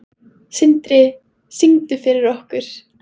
Sindri: Syngdu fyrir okkur?